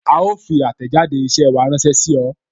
A ó fi àtẹ̀jáde isẹ wa ránsẹ́ sí ọ